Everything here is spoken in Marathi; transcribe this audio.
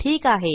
ठीक आहे